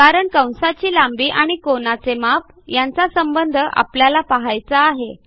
कारण कंसाची लांबी आणि कोनाचे माप यांचा संबंध आपल्याला पहायचा आहे